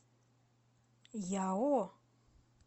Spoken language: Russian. яо